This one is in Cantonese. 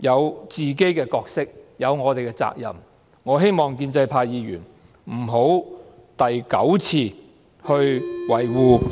有自己的角色和責任，我希望建制派議員不要第九次維護......